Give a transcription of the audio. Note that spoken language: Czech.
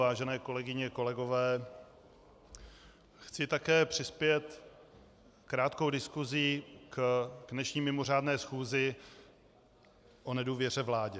Vážené kolegyně, kolegové, chci také přispět krátkou diskuzí k dnešní mimořádné schůzi o nedůvěře vládě.